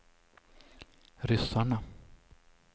ryssarna